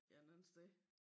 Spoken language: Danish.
Et eller andet sted